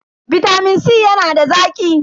Bitamin C yana da zaki.